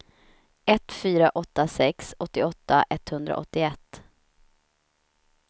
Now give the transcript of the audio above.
ett fyra åtta sex åttioåtta etthundraåttioett